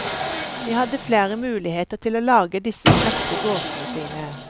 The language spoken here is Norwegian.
De hadde flere muligheter til å lage disse smekre gåtene sine.